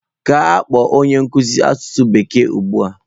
Gaa kpọọ onye nkuzi asụsụ bekee ugbu a!